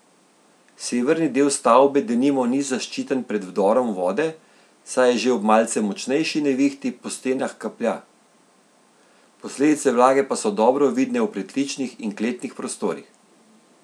Severni del stavbe denimo ni zaščiten pred vdorom vode, saj že ob malce močnejši nevihti po stenah kaplja, posledice vlage pa so dobro vidne v pritličnih in kletnih prostorih.